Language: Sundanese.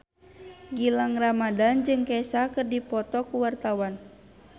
Gilang Ramadan jeung Kesha keur dipoto ku wartawan